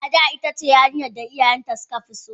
Ada itace yarinyan da iyayen ta suka fi so.